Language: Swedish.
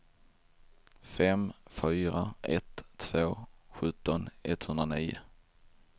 fem fyra ett två sjutton etthundranio